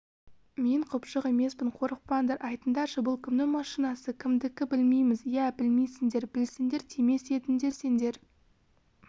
мен құбыжық емеспін қорықпаңдар айтыңдаршы бұл кімнің машинасы кімдікі білмейміз ия білмейсіңдер білсеңдер тимес едіңдер сендер